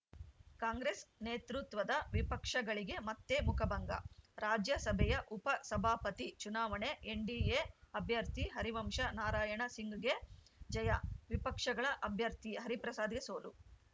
ಕಾಂಗ್ರೆಸ್‌ ನೇತೃತ್ವದ ವಿಪಕ್ಷಗಳಿಗೆ ಮತ್ತೆ ಮುಖಭಂಗ ರಾಜ್ಯಸಭೆಯ ಉಪಸಭಾಪತಿ ಚುನಾವಣೆ ಎನ್‌ಡಿಎ ಅಭ್ಯರ್ಥಿ ಹರಿವಂಶ ನಾರಾಯಣ ಸಿಂಗ್‌ಗೆ ಜಯ ವಿಪಕ್ಷಗಳ ಅಭ್ಯರ್ಥಿ ಹರಿಪ್ರಸಾದ್‌ಗೆ ಸೋಲು